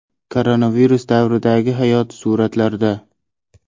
Koronavirus davridagi hayot suratlarda.